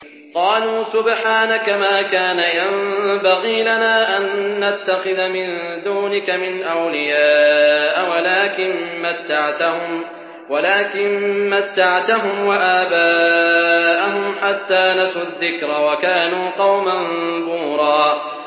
قَالُوا سُبْحَانَكَ مَا كَانَ يَنبَغِي لَنَا أَن نَّتَّخِذَ مِن دُونِكَ مِنْ أَوْلِيَاءَ وَلَٰكِن مَّتَّعْتَهُمْ وَآبَاءَهُمْ حَتَّىٰ نَسُوا الذِّكْرَ وَكَانُوا قَوْمًا بُورًا